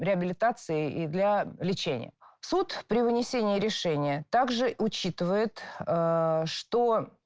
реабилитации и для лечения суд при вынесении решения так же учитывает что